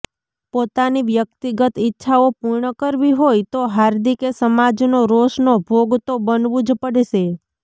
પોતાની વ્યક્તિગત ઈચ્છાઓ પૂર્ણ કરવી હોય તો હાર્દિકે સમાજનો રોષનો ભોગ તો બનવું જ પડશે